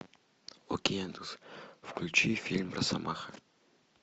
окей яндекс включи фильм росомаха